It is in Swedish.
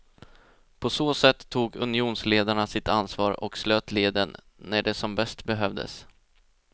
På så sätt tog unionsledarna sitt ansvar och slöt leden när det som bäst behövdes.